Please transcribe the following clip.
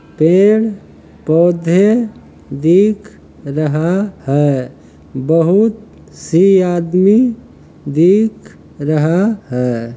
पेड़ पौधे दिख रहा है बहुत से आदमी दिख रहा है।